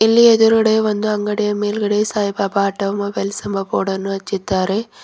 ಇಲ್ಲಿ ಎದುರದೆ ಒಂದು ಅಂಗಡಿಯ ಮೇಲ್ಗಡೆ ಸಾಯಿಬಾಬ ಆಟೋ ಮೊಬೈಲ್ಸ್ ಎಂಬ ಬೋರ್ಡ್ ಅನ್ನು ಹಚ್ಚಿದ್ದಾರೆ.